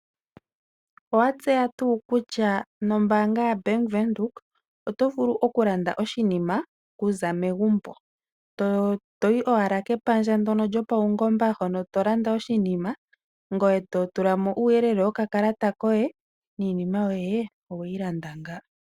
Owa tseya tuu kutya nombaanga yaBank Windhoek oto vulu okulanda oshinima okuza megumbo, to yi owala kepandja lyopaungomba hoka to landa oshinima ngoye to tula mo uuyelele wokakalata koye niinima yoye owe yi landa ngaaka.